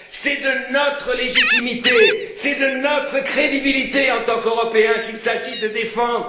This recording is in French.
C'est notre légitimité, c'est notre crédibilité en tant qu'Européens qu'il s'agit de défendre.